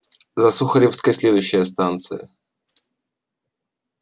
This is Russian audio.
за сухаревской следующая станция